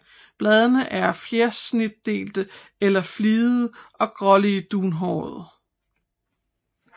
Bladene er fjersnitdelte eller fligede og gråligt dunhårede